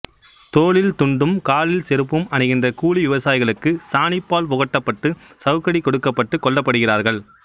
தோளில் துண்டும் காலில் செறுப்பும் அணிகின்ற கூலி விவசாயிகளுக்குச் சாணிப்பால் புகட்டப்பட்டு சவுக்கடி கொடுக்கப்பட்டுக் கொல்லப்படுகிறார்கள்